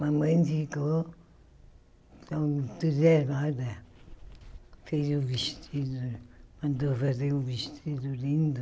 Mamãe ficou entusiasmada, fez o vestido, mandou fazer um vestido lindo.